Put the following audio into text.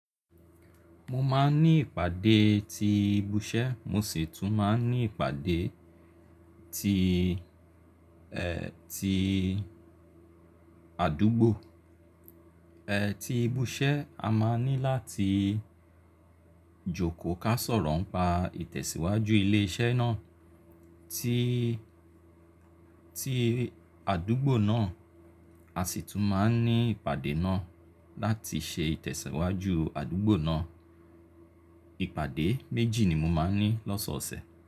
Mo máa ń ní ìpàdé ti ibi iṣẹ́, mo sì tún máa ń ní ìpàdé ti, ti àdúgbò. Ti ibi iṣẹ́ a máa ní láti jókòó ká sọ̀rọ̀ ń pa ìtẹ̀síwájú ilé iṣẹ́ náà. Ti, ti àdúgbò náà, a sì tún máa ń ní ìpàdé náà láti ṣe ìtẹ̀síwájú àdúgbò náà. Ìpàdé méjì ni mo máa ń ní lọ́sọ̀ọ̀sẹ̀.